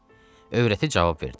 Övrəti cavab verdi: